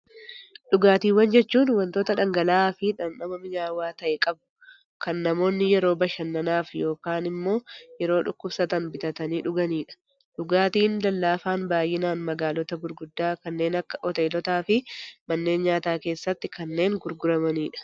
Dhugaatiiwwan jechuun waanta dhangala'aa fi dhamdhama mi'aawaa ta'e qabu, kan namoonni yeroo bashannanaaf yookaan immoo yeroo dhukkubsatan bitatanii dhuganidha. Dhugaatiin lallaafaa baayyinaan magaalota gurguddoo kanneen akka hoteelota fi manneen nyaataa keessatti kanneen gurguramanidha.